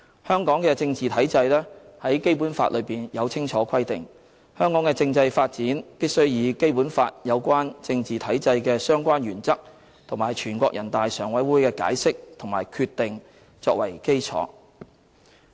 香港的政治體制在《基本法》中有清楚規定，香港的政制發展必須以《基本法》有關政治體制的相關原則，以及全國人大常委會的解釋和決定作為基礎。